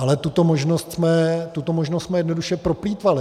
Ale tuto možnost jsme jednoduše proplýtvali.